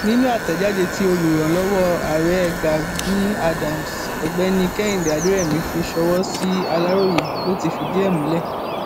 nínú àtẹjáde tí olùrànlọwọ ààrẹ gani adams ọgbẹni kehinde aderemi fi sọwọ sí aláròye ló ti fìdí ẹ múlẹ